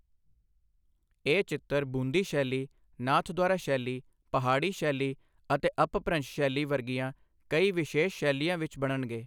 ਇਹ ਚਿੱਤਰ ਬੂੰਦੀ ਸ਼ੈਲੀ, ਨਾਥਦੁਆਰਾ ਸ਼ੈਲੀ, ਪਹਾੜੀ ਸ਼ੈਲੀ ਅਤੇ ਅਪਭ੍ਰੰਸ਼ ਸ਼ੈਲੀ ਵਰਗੀਆਂ ਕਈ ਵਿਸ਼ੇਸ਼ ਸ਼ੈਲੀਆਂ ਵਿੱਚ ਬਣਨਗੇ।